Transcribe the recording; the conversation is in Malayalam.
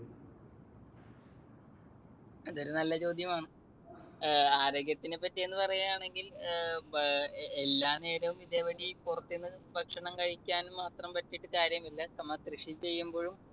അതൊരു നല്ല ചോദ്യമാണ്. ആരോഗ്യത്തിനെ പറ്റി എന്ന് പറയുകയാണെങ്കിൽ എല്ലാ നേരവും ഇതേപടി പുറത്തുന്നു ഭക്ഷണം കഴിക്കാൻ മാത്രം പറ്റിയിട്ട് കാര്യമില്ല. നമ്മൾ കൃഷി ചെയ്യുമ്പോഴും